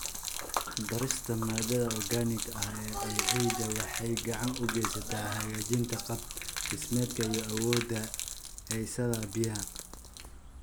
Ku darista maadada organic-ga ah ee ciidda waxay gacan ka geysataa hagaajinta qaab-dhismeedkeeda iyo awoodda haysashada biyaha.